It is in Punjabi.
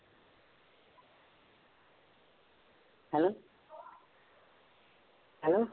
hello hello